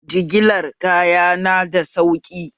Jigilar kaya na da sauƙi?